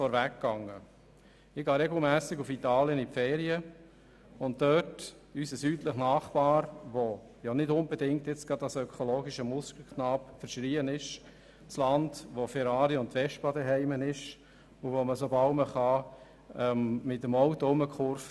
Ich verbringe meine Ferien regelmässig in Italien, und das gilt nicht gerade als ökologischer Musterknabe, sondern als Land wo Ferrari und Vespa zuhause sind und wo man so früh wie möglich mit dem Auto herumkurvt.